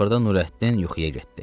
Axırda Nurəddin yuxuya getdi.